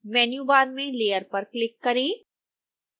menu bar में layer पर click करें